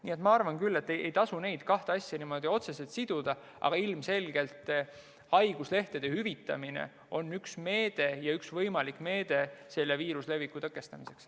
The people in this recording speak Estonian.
Nii et ma arvan, et ei tasu neid kahte asja niimoodi otseselt siduda, aga ilmselgelt on haiguslehtede hüvitamine üks võimalik meede selle viiruse leviku tõkestamiseks.